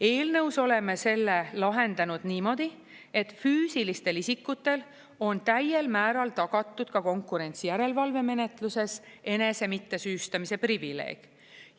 Eelnõus oleme selle lahendanud niimoodi, et füüsilistel isikutel on täiel määral tagatud ka konkurentsijärelevalve menetluses enese mittesüüstamise privileeg.